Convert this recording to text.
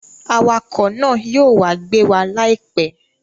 Awakọ̀ náà yóò wá gbé wa láìpẹ́